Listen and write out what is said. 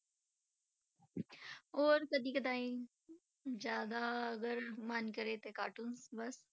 ਹੋਰ ਕਦੇ ਕਦਾਈ ਜ਼ਿਆਦਾ ਅਗਰ ਮਨ ਕਰੇ ਤੇ cartoon ਬਸ,